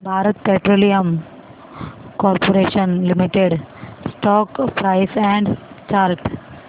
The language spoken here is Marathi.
Bharat Petroleum Corporation Limited stock price and chart